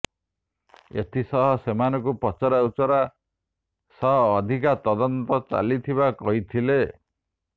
ଏଥିସହ ସେମାନଙ୍କୁ ପଚରାଉଚରା ସହ ଅଧିକା ତଦନ୍ତ ଚାଲିଥିବା କହିଥିଲେ